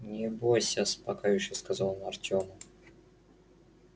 не бойся успокаивающе сказал он артёму